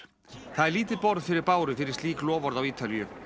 það er lítið borð fyrir báru fyrir slík loforð á Ítalíu